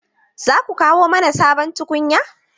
Za ku kawo mana sabon tukunya?